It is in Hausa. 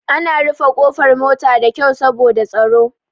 Ana rufe ƙofar mota da kyau saboda tsaro.